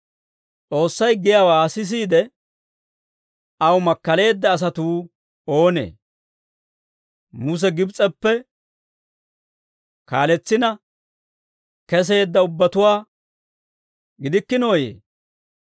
S'oossay giyaawaa sisiide, aw makkaleedda asatuu oonee? Muse Gibs'eppe kaaletsina keseedda ubbatuwaa gidikkinooyee?